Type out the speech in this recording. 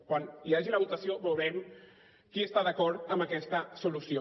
quan hi hagi la votació veurem qui està d’acord amb aquesta solució